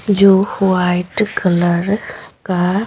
जो white colour का--